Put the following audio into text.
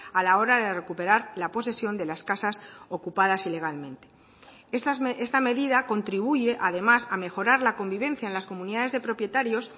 a la hora de recuperar la posesión de las casas ocupadas ilegalmente esta medida contribuye además a mejorar la convivencia en las comunidades de propietarios